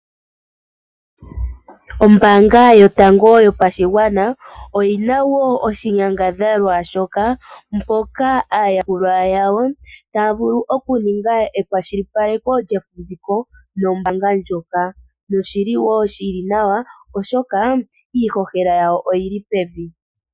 Ombaanga yotango yopashigwana oyi na wo oshinyangadhalwa shoka, mpoka aayakulwa yawo taya vulu okuninga ekwashilipaleko lyefumviko nombaanga ndjoka noshili wo shili nawa, oshoka iihohela yawo oyili pevi.